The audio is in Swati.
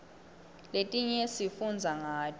letinye sifundza ngato